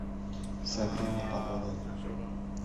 сабрина под водой